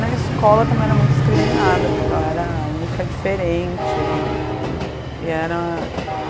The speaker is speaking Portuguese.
Na escola também era muito discriminada, porque eu era a única diferente e e era